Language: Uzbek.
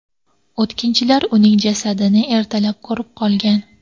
O‘tkinchilar uning jasadini ertalab ko‘rib qolgan .